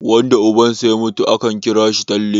wanda ubansa ya mutum akan kira shi talle